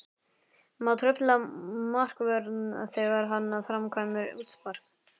Má trufla markvörð þegar hann framkvæmir útspark?